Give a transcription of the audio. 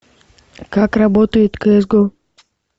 как работает кс го